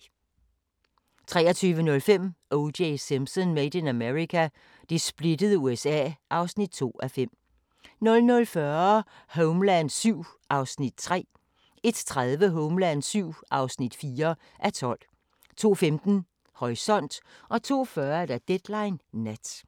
23:05: O.J. Simpson: Made in America – det splittede USA (2:5) 00:40: Homeland VII (3:12) 01:30: Homeland VII (4:12) 02:15: Horisont 02:40: Deadline Nat